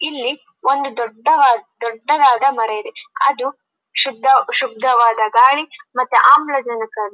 ಇಲ್ಲಿ ಒಂದು ದೊಡ್ಡವ ದೊಡ್ಡದಾದ ಮರವಿದೆ ಅದು ಶುದ್ಧ ಶುದ್ಧವಾದ ಗಾಳಿ ಮತ್ತೆ ಆಮ್ಲಜನಕವನ್ನು--